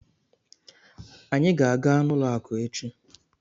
Anyị ga-aga n'ụlọ akụ echi.